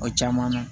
O caman na